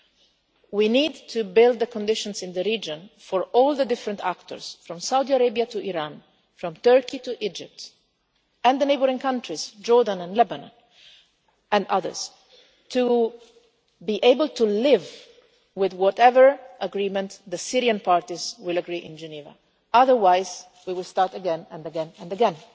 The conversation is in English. And we need to build the conditions in the region for all the different actors, from Saudi Arabia to Iran, from Turkey to Egypt, and the neighbouring countries, Jordan and Lebanon, and others, to be able to live with whatever agreement the Syrian parties come to in Geneva. Otherwise we will start again and again and